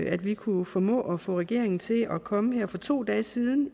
at vi kunne formå at få regeringen til at komme her for to dage siden